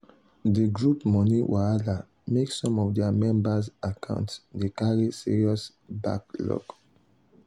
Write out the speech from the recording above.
the group money wahala make some of their members accounts dey carry serious backlog.